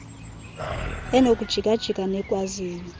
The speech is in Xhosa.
enokujika jika nekwaziyo